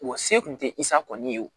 Wa se kun tɛ i sa kɔni ye o